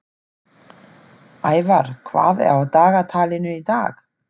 Ævar, hvað er á dagatalinu í dag?